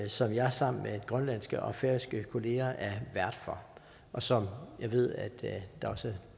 som jeg sammen med grønlandske og færøske kollegaer er vært for og som jeg ved der også